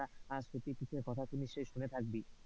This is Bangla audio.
আর সতীপীঠের কথা তো নিশ্চই শুনে থাকবি?